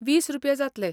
वीस रुपया जातले.